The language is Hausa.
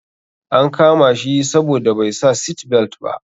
An kama shi saboda bai sa seatbelt ba.